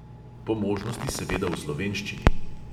Po možnosti seveda v slovenščini.